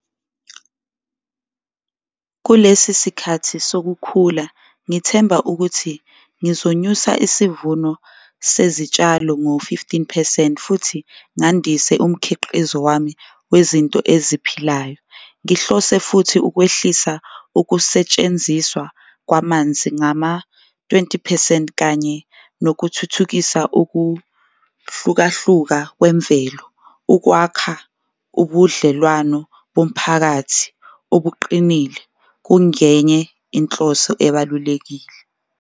Kulesi sikhathi sokukhula ngithemba ukuthi ngizonyusa isivuno sezitshalo ngo-fifteen percent futhi ngandise umkhiqizo wami wezinto eziphilayo. Ngihlose futhi ukwehlisa ukusetshenziswa kwamanzi ngama-twenty percent kanye nokuthuthukisa ukuhlukahluka kwemvelo, ukwakha ubudlelwano bomphakathi obuqinile kungenye inhloso ebalulekile.